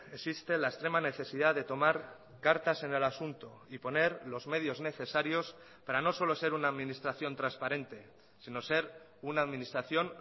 existe la extrema necesidad de tomar cartas en el asunto y poner los medios necesarios para no solo ser una administración transparente sino ser una administración